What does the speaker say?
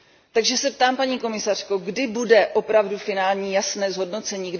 Takže se ptám, paní komisařko, kdy bude opravdu finální jasné zhodnocení?